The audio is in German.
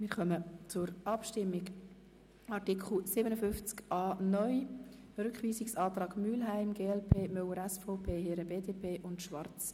Wir kommen zur Abstimmung über den Rückweisungsantrag Mühlheim betreffend Artikel 57a (neu).